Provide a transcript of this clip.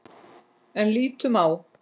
En lítum á.